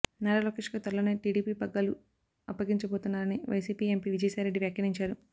నారా లోకేష్కు త్వరలోనే టీడీపీ పగ్గాలు అప్పగించబోతున్నారని వైసీపీ ఎంపీ విజయసాయిరెడ్డి వ్యాఖ్యానించారు